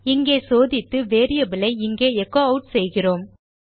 இங்கே சோதித்து வேரியபிள் ஐ இங்கே எச்சோ ஆட் செய்கிறோம்